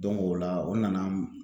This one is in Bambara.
o la o nana